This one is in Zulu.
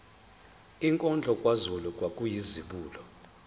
inkondlo kazulu kwakuyizibulo